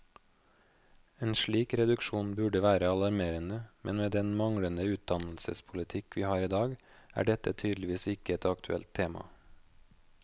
En slik reduksjon burde være alarmerende, men med den manglende utdannelsespolitikk vi har i dag, er dette tydeligvis ikke et aktuelt tema.